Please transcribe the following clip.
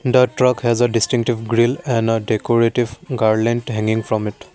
the truck has a distinctive grill and a decorative garland hanging from it.